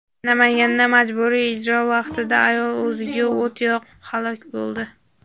Namanganda majburiy ijro vaqtida ayol o‘ziga o‘t qo‘yib halok bo‘ldi.